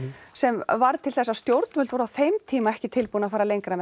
sem varð til þess að stjórnvöld voru á þeim tíma ekki tilbúin að fara lengra með